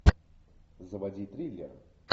заводи триллер